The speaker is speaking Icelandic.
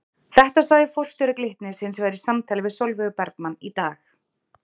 Þetta sagði forstjóri Glitnis hins vegar í samtali við Sólveigu Bergmann í dag?